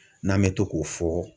N'an bɛ to k'o fɔ.